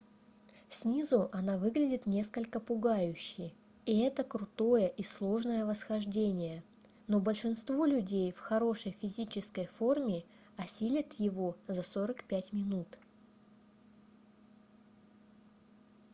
снизу она выглядит несколько пугающе и это крутое и сложное восхождение но большинство людей в хорошей физической форме осилят его за 45 минут